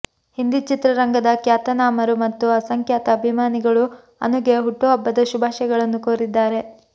ಹಿಂದಿ ಚಿತ್ರರಂಗದ ಖ್ಯಾತನಾಮರು ಮತ್ತು ಅಸಂಖ್ಯಾತ ಅಭಿಮಾನಿಗಳು ಅನುಗೆ ಹುಟ್ಟುಹಬ್ಬದ ಶುಭಾಶಯಗಳನ್ನು ಕೋರಿದ್ದಾರೆ